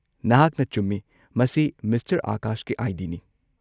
ꯅꯍꯥꯛꯅ ꯆꯨꯝꯃꯤ, ꯃꯁꯤ ꯃꯤꯁꯇꯔ ꯑꯥꯀꯥꯁꯀꯤ ꯑꯥꯏ. ꯗꯤ. ꯅꯤ꯫